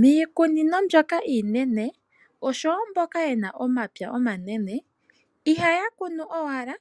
Miikunino mbyoka iinene, osho wo mboka ye na omapya omanene, ihaya kunu owala